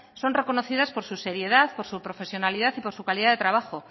son reconocidas por su seriedad por su profesionalidad y por su calidad de trabajo